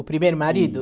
O primeiro marido?